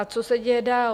A co se děje dál?